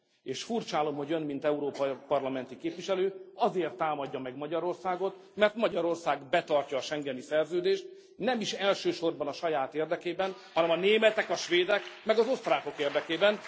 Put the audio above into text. És furcsállom, hogy Ön mint Európai Parlamenti képviselő azért támadja meg Magyarországot, mert Magyarország betartja a Schengeni Szerződést, nem is elsősorban a saját érdekében, hanem a németek, a svédek, meg az osztrákok érdekében.